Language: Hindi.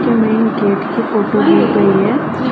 मेन गेट के ऊपर ली गई है।